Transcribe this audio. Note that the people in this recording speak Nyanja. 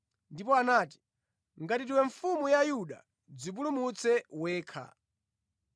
ndipo anati, “Ngati ndiwe Mfumu ya Ayuda, dzipulumutse wekha.”